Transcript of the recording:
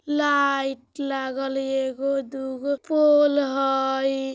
लाइट लागल ए गो दू गो पोल हय।